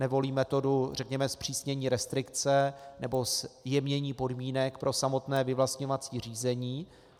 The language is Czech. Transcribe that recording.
Nevolí metodu, řekněme, zpřísnění restrikce nebo zjemnění podmínek pro samotné vyvlastňovací řízení.